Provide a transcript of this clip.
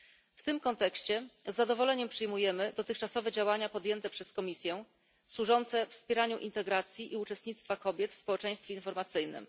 W tym kontekście z zadowoleniem przyjmujemy dotychczasowe działania podjęte przez Komisję, służące wspieraniu integracji i uczestnictwa kobiet w społeczeństwie informacyjnym.